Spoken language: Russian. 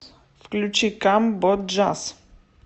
включи камбоджаз